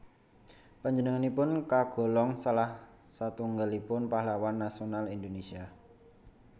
Panjenenganipun kagolong salah satunggaipun pahlawan nasional Indonésia